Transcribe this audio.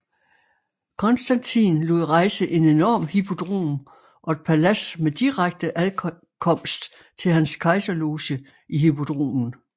Konstantin lod rejse en enorm hippodrom og et palads med direkte adkomst til hans kejserloge i hippodromen